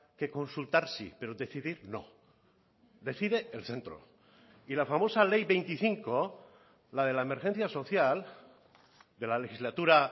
que consultar sí pero decidir no decide el centro y la famosa ley veinticinco la de la emergencia social de la legislatura